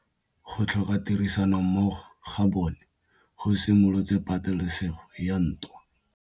Go tlhoka tirsanommogo ga bone go simolotse patêlêsêgô ya ntwa.